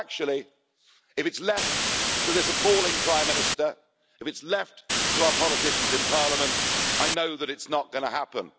But actually, if it's left to this appalling Prime Minister, if it's left to our politicians in Parliament, I know that it's not going to happen.